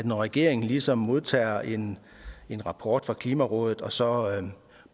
når regeringen ligesom modtager en en rapport fra klimarådet og så